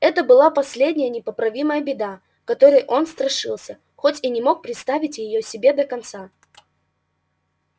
это была последняя непоправимая беда которой он страшился хоть и не мог представить её себе до конца